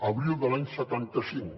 abril de l’any setanta cinc